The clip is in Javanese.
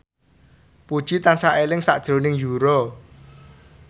Puji tansah eling sakjroning Yura